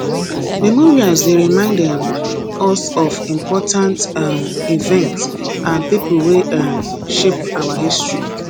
memorials dey remind um us of important um events and people wey um shape our history